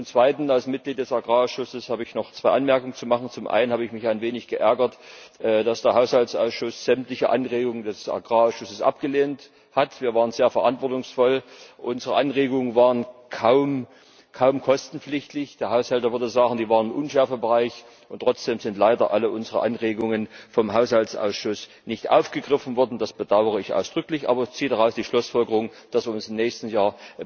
Und zum Zweiten Als Mitglied des Agrarausschusses habe ich noch zwei Anmerkungen zu machen. Zum einen habe ich mich ein wenig geärgert, dass der Haushaltsausschuss sämtliche Anregungen des Agrarausschusses abgelehnt hat. Wir waren sehr verantwortungsvoll. Unsere Anregungen waren kaum kostenpflichtig. Der Haushälter würde sagen, sie waren im Unschärfebereich, und trotzdem sind leider alle unsere Anregungen vom Haushaltsausschuss nicht aufgegriffen worden. Das bedaure ich ausdrücklich. Aber ich ziehe daraus die Schlussfolgerung, dass wir uns im nächsten